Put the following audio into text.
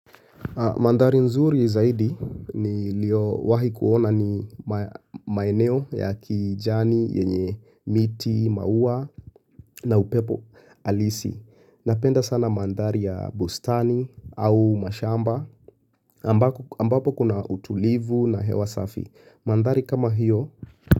Mandhari nzuri zaidi nilio wahi kuona ni maeneo ya kijani yenye miti, mauwa na upepo alisi. Napenda sana mandhari ya bustani au mashamba ambapo kuna utulivu na hewa safi. Mandari kama hiyo.